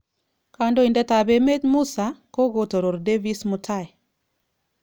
Kondoidat ab emet Musa kogotoror Davis mutai